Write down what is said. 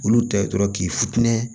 Olu tɛ dɔrɔn k'i futinɛ